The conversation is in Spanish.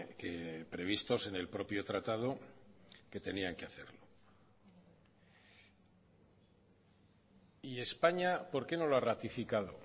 que previstos en el propio tratado que tenían que hacer y españa por qué no lo ha ratificado